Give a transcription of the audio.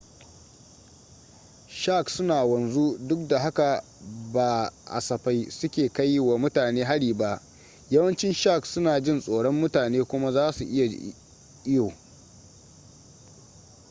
sharks suna wanzu duk da haka ba safai suke kai wa mutane hari ba yawancin sharks suna jin tsoron mutane kuma zasu iya iyo